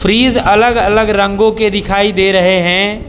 Fridge अलग अलग रंगों के दिखाई दे रहे हैं।